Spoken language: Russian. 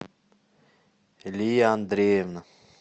лия андреевна